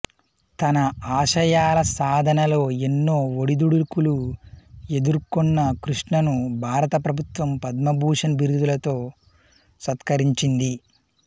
తన ఆశయాల సాధనలో ఎన్నో ఒడిదుడుకులు ఎదుర్కొన్న కృష్ణను భారత ప్రభుత్వం పద్మభూషణ్ బిరుదుతో సత్కరించింది